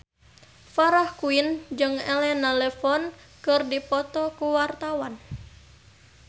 Farah Quinn jeung Elena Levon keur dipoto ku wartawan